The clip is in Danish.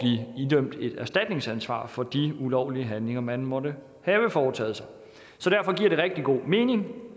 idømt et erstatningsansvar for de ulovlige handlinger man måtte have foretaget sig så derfor giver rigtig god mening